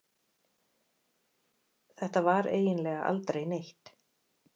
Þetta var eiginlega aldrei neitt.